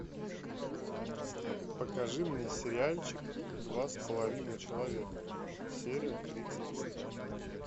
покажи мне сериальчик два с половиной человека серия тридцать три